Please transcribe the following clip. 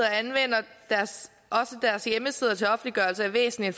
anvender deres hjemmesider til offentliggørelse af væsentlige